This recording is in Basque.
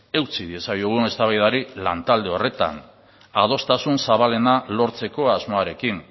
eutsi diezaiogun eztabaidari lantalde horretan adostasun zabalena lortzeko asmoarekin